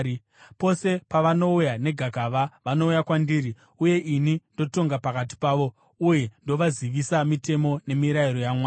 Pose pavanouya negakava vanouya kwandiri, uye ini ndotonga pakati pavo uye ndovazivisa mitemo nemirayiro yaMwari.”